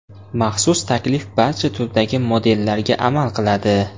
Maxsus taklif barcha turdagi modellarga amal qiladi!